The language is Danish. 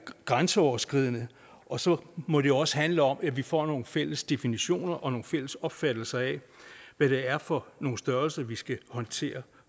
grænseoverskridende og så må det også handler om at vi får nogle fælles definitioner og en fælles opfattelse af hvad det er for nogle størrelser vi skal håndtere